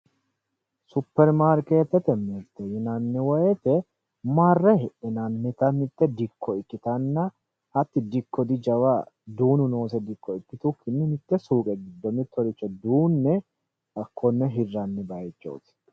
Superimaarketete mirte yinnanni woyte marre hidhinannitta mitte dikko ikkittanna hati dikkonno jawa duunu nooseta ikkitukkinni mite suqqe giddo mittoricho duune hakkone hiranni bayichooti.